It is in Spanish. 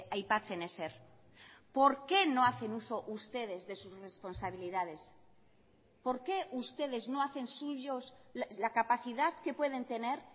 aipatzen ezer por qué no hacen uso ustedes de sus responsabilidades por qué ustedes no hacen suyos la capacidad que pueden tener